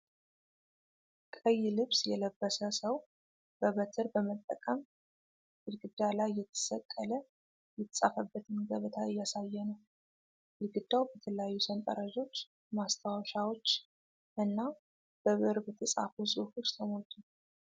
ቀይ ልብስ የለበሰ ሰው በበትር በመጠቀም ግድግዳ ላይ የተሰቀለ የተጻፈበትን ገበታ እያሳየ ነው። ግድግዳው በተለያዩ ሰንጠረዦች፣ ማስታወሻዎች እና በብዕር በተጻፉ ጽሑፎች ተሞልቷል።